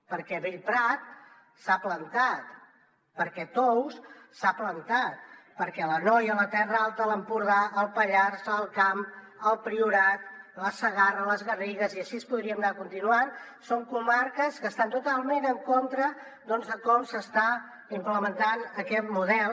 perquè bellprat s’ha plantat perquè tous s’ha plantat perquè l’anoia la terra alta l’empordà el pallars l’alt camp el priorat la segarra les garrigues i així podríem anar continuant són comarques que estan totalment en contra doncs de com s’està implementant aquest model